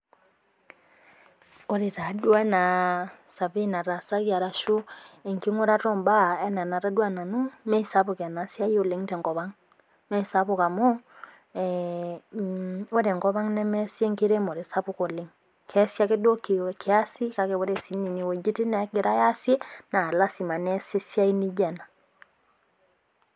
Ore taaduo anaa survey natasaki ashuu anaa enkingurata oombaa enatadua nanu imeisapuk oleng ena siai tenkop ang. Imesapuk amuu Ore enkop ang nemeasi enkiremore sapuk oleng, kiasi ake duo kiasi kake ore siininye nena wuejitin neegirai aasie naa lasima neeasi esiai naijio ena